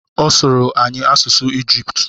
Ọ sụrụ anyị asụsụ Ijiputu